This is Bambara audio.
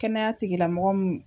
Kɛnɛya tigilamɔgɔ mun.